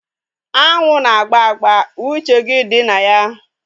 Anwụ na agba agba. Uche gị dị na ya